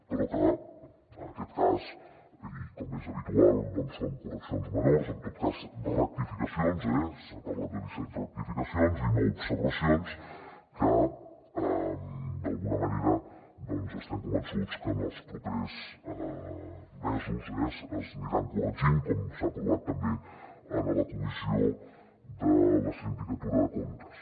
però que en aquest cas i com és habitual són correccions menors en tot cas rectificacions s’ha parlat de disset rectificacions i nou observacions que d’alguna manera estem convençuts que en els propers mesos s’aniran corregint com s’ha aprovat també en la comissió de la sindicatura de comptes